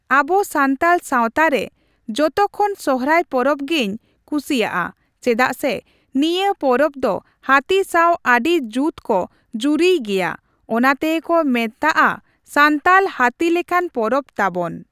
ᱟᱵᱚ ᱥᱟᱱᱛᱟᱞ ᱥᱟᱣᱛᱟ ᱨᱮ ᱡᱚᱛᱚ ᱠᱷᱚᱱ ᱥᱚᱨᱦᱟᱭ ᱯᱚᱨᱚᱵᱽ ᱜᱮᱧ ᱠᱩᱥᱤᱭᱟᱜᱼᱟ ᱾ ᱪᱮᱫᱟᱜ ᱥᱮ ᱱᱤᱭᱟᱹ ᱯᱚᱨᱚᱵᱽ ᱫᱚ ᱦᱟᱹᱛᱤ ᱥᱟᱣ ᱟᱹᱰᱤ ᱡᱩᱛ ᱠᱚ ᱡᱩᱨᱤᱭ ᱜᱮᱭᱟ ᱚᱱᱟ ᱛᱮᱜᱮ ᱠᱚ ᱢᱮᱛᱟᱜᱼᱟ ᱥᱟᱱᱛᱟᱞ ᱦᱟᱹᱛᱤ ᱞᱮᱠᱟᱱ ᱯᱚᱨᱚᱵᱽ ᱛᱟᱵᱚᱱ᱾